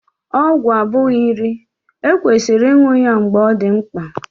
Ọgwụ abụghị nri, e kwesịrị ịṅụ ya mgbe ọ dị na mkpa